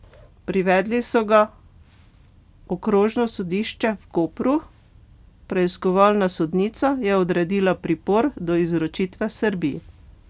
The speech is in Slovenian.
Privedli so ga okrožno sodišče v Kopru, preiskovalna sodnica je odredila pripor do izročitve Srbiji.